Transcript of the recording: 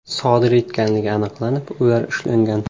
sodir etganligi aniqlanib, ular ushlangan.